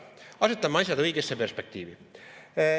Asetame asjad õigesse perspektiivi.